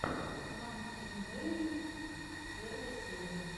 пранк инвэйжэн первая серия